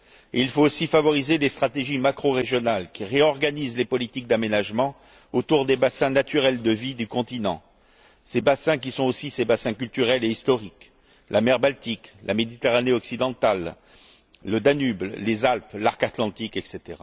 Il faut aussi favoriser des stratégies macrorégionales qui réorganisent les politiques d'aménagement autour des bassins naturels de vie du continent, ces bassins qui sont aussi ses bassins culturels et historiques la mer Baltique, la Méditerranée occidentale, le Danube, les Alpes, l'arc Atlantique, etc.